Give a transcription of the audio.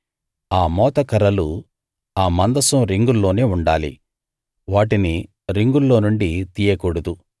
ఆ మోతకర్రలు ఆ మందసం రింగుల్లోనే ఉండాలి వాటిని రింగుల్లోనుండి తీయకూడదు